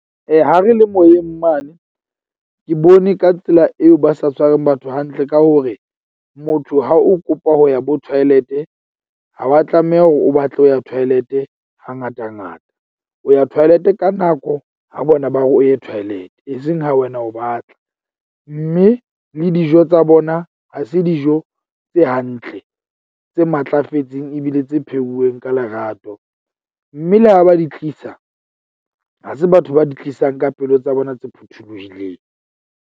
Ha re le moyeng mane ke bone ka tsela eo ba sa tshwareng batho hantle ka hore, motho ha o kopa ho ya bo toilet-e, ha wa tlameha hore o batle ho ya toilet-e ha ngata ngata. O ya toilet-e ka nako ha bona ba re o ye toilet-e, eseng ha wena o batla. Mme le dijo tsa bona ha se dijo tse hantle, tse matlafetseng ebile tse pheuweng ka lerato. Mme le ha ba di tlisa, ha se batho ba di tlisang ka pelo tsa bona tse phuthuluhileng.